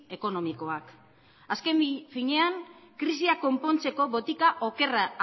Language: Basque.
ekonomikoak azken finean krisia konpontzeko botika okerra